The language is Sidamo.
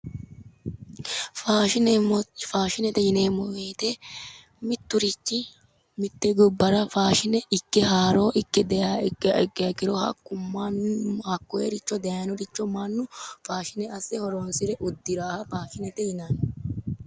faashinete yineemmo woyite mitturichi mitte gobbara faashine ikki haaroo ikke dayiha ikkiha ikkiro hakkoyiricho dayinoricho mannu faashine asse horoonsire uddiraaha faashinete yinanni.